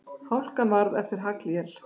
Hálkan varð eftir haglél.